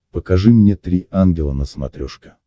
покажи мне три ангела на смотрешке